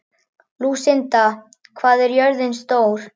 Lúsinda, hvað er jörðin stór?